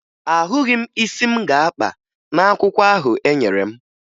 Ahụghị m isi m ga-akpa n'akwụkwọ ahụ enyere m